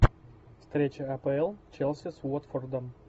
встреча апл челси с уотфордом